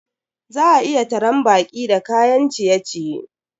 Za a iya taran baƙi da kayan ciye-ciye.